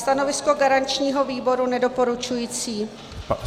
Stanovisko garančního výboru nedoporučující.